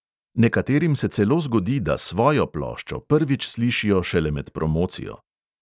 Nekaterim se celo zgodi, da "svojo" ploščo prvič slišijo šele med promocijo."